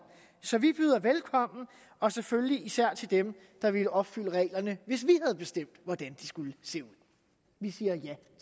så vi byder velkommen og selvfølgelig især til dem der ville opfylde reglerne hvis vi havde bestemt hvordan de skulle se ud vi siger ja